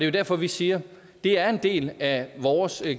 jo derfor vi siger at det er en del af vores